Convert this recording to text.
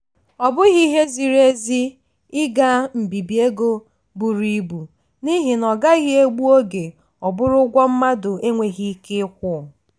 ọ bụghị ihe ziri ezi ị ga mbibi ego buru ibu n'ihi na ọ gaghị egbu oge ọ bụrụ ụgwọ mmadụ enweghị ike ịkwụ.